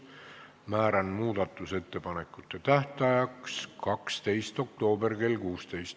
Määran muudatusettepanekute tähtajaks 12. oktoobri kell 16.